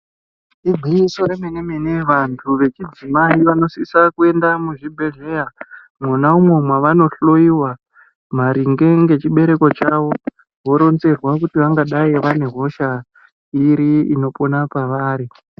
Igwinyiso remene-mene vantu vechidzimai vanosisa kuenda kuzvibhedhlera uko vanohloyiwa maringe nechibereko chawo voronzerwa kuti vangadai vane hosha iri inopona pavari.